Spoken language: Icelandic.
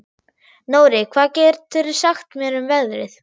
Nóri, hvað geturðu sagt mér um veðrið?